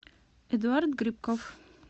эдуард грибков